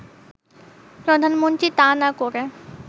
প্রধানমন্ত্রী তা না করে